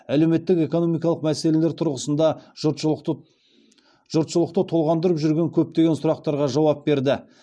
әлеуметтік экономикалық мәселелер тұрғысында жұртшылықты толғандырып жүрген көптеген сұрақтарға жауап берді